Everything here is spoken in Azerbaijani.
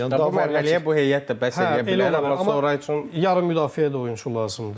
Yəni bu mərhələyə bu heyət də bəs eləyə bilər, sonra üçün yarım müdafiəyə də oyunçu lazımdır.